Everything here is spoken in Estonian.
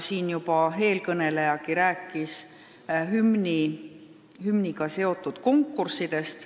Juba eelkõnelejagi rääkis hümniga seotud konkurssidest.